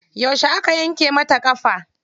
Yauce aka yanke masa ƙafa?